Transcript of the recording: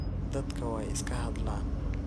Dadka way iskahadhlan.